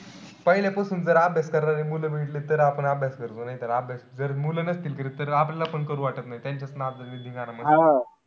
पहिलेपासून जर अभ्यास करणारी मुलं भेटली तर आपण अभ्यास करतो. नाई तर अभ्यासात जर मुलं नसतील करत तर आपल्याला पण करू वाटत नाई.